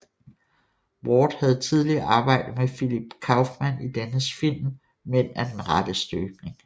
Ward havde tidligere arbejdet med Philip Kaufman i dennes film Mænd af den rette støbning